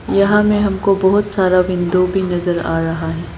यहां में हमको बहोत सारा विंडो भी नजर आ रहा है।